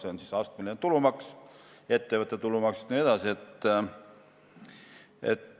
Soomes kehtib astmeline tulumaks ja ka ettevõtte tulumaks.